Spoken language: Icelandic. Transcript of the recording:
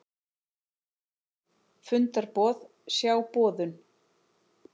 Fundarboð, sjá boðun